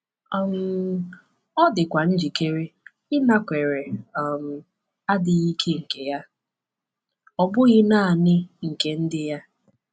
um Ọ dịkwa njikere ịnakwere um adịghị ike nke ya, ọ bụghị naanị nke ndị ya.